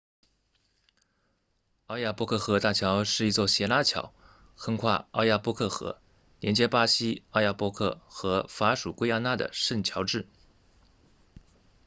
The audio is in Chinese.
奥亚波克河大桥是一座斜拉桥横跨奥亚波克河连接巴西奥亚波克和法属圭亚那的圣乔治